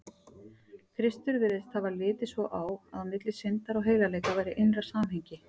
Kristur virðist hafa litið svo á, að milli syndar og heilagleika væri innra samhengi.